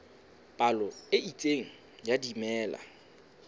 palo e itseng ya dimela